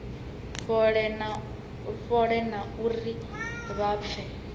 fhole na uri vha pfe